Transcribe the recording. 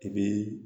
I bi